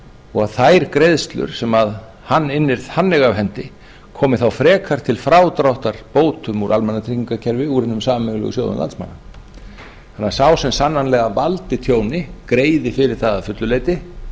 og að þær greiðslur sem hann innir þannig af hendi komi þá frekar til frádráttar bótum úr almannatryggingakerfi úr hinum sameiginlegu sjóðum landsmanna þannig að sá sem sannanlega valdi tjóni greiði fyrir það að fullu leyti